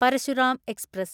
Parasuram express